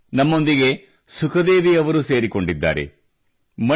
ಬನ್ನಿ ನಮ್ಮೊಂದಿಗೆ ಸುಖದೇವಿ ಅವರು ಸೇರಿಕೊಂಡಿದ್ದಾರೆ